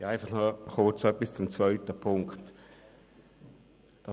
Ich habe noch kurz eine Bemerkung zum Punkt 2.